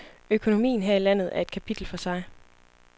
Økonomien her i landeter et kapitel for sig.